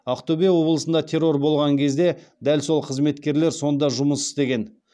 ақтөбе облысында террор болған кезде дәл сол қызметкерлер сонда жұмыс істеген